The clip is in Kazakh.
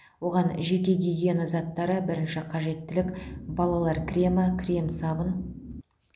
оған жеке гигиена заттары бірінші қажеттілік балалар кремі крем сабын